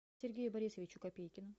сергею борисовичу копейкину